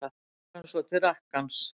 Leggur hann svo til rakkans.